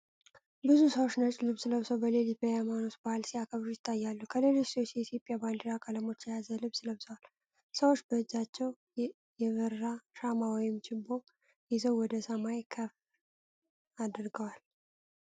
ብዙ ሰዎች ነጭ ልብስ ለብሰው በሌሊት የሃይማኖታዊ በዓል ሲያከብሩ ይታያሉ። ከፊሎቹ ሰዎች የኢትዮጵያ ባንዲራ ቀለሞችን የያዘ ልብስ ለብሰዋል። ሰዎች በእጃቸው የበራ ሻማ ወይም ችቦ ይዘው ወደ ሰማይ ከፍ አድርገዋል።